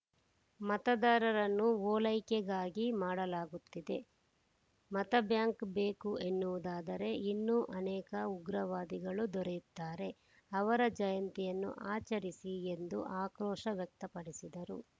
ಮತದಾರರನ್ನು ಓಲೈಕೆಗಾಗಿ ಮಾಡಲಾಗುತ್ತಿದೆ ಮತಬ್ಯಾಂಕ್‌ ಬೇಕು ಎನ್ನುವುದಾದರೆ ಇನ್ನೂ ಅನೇಕ ಉಗ್ರವಾದಿಗಳು ದೊರೆಯುತ್ತಾರೆ ಅವರ ಜಯಂತಿಯನ್ನು ಆಚರಿಸಿ ಎಂದು ಆಕ್ರೋಶ ವ್ಯಕ್ತಪಡಿಸಿದರು